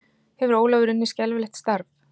Hefur Ólafur unnið skelfilegt starf?